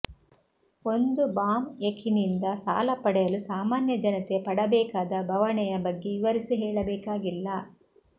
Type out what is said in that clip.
ಒಂದು ಬಾಂ್ಯಕಿನಿಂದ ಸಾಲ ಪಡೆಯಲು ಸಾಮಾನ್ಯ ಜನತೆ ಪಡಬೇಕಾದ ಬವಣೆಯ ಬಗ್ಗೆ ವಿವರಿಸಿ ಹೇಳಬೇಕಾಗಿಲ್ಲ